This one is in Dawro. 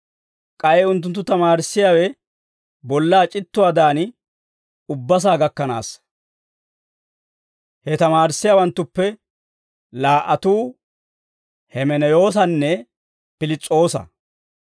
K'ay unttunttu tamaarissiyaawe bollaa c'ittuwaadan ubbasaa gakkanaassa. He tamaarissiyaawanttuppe laa"atuu Hemeneyoosanne Piliis'oosa.